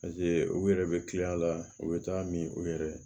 u yɛrɛ bɛ kil'a la u bɛ taa min u yɛrɛ